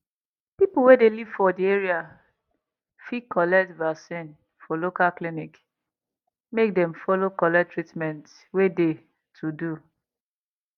people wey de live for de area fit collect vaccin for local clinic make dem follow collect treatment wey de to do